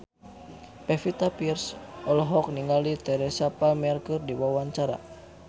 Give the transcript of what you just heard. Pevita Pearce olohok ningali Teresa Palmer keur diwawancara